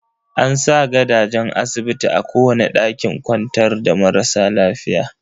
An sa gadajen asibiti a kowane ɗakin kwantar da marasa lafiya.